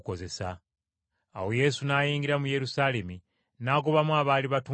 Awo Yesu n’ayingira mu Yeekaalu n’agobamu abaali batundiramu.